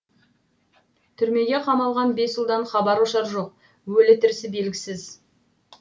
түрмеге қамалған бес ұлдан хабар ошар жоқ өлі тірісі белгісіз